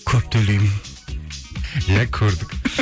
көп төлемеймін иә көрдік